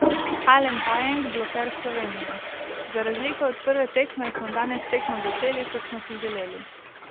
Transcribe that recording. Alen Pajenk, bloker Slovenije: "Za razliko od prve tekme smo danes tekmo začeli, kot smo si želeli.